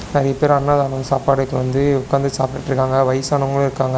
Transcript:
நெறைய பேர் அன்னதானம் சாப்பாடுக்கு வந்து உக்காந்து சாப்பிட்டுட்ருக்காங்க வயசானவங்களு இருக்காங்க.